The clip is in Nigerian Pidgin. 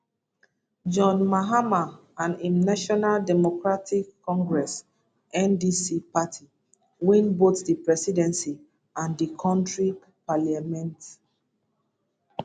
john mahama and im national democratic congress ndc party win both di presidency and di kontri parliament